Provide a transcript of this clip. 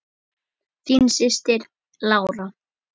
Þín systir, Lára.